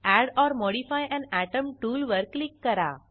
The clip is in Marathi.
add or modify an atom tool वर क्लिक करा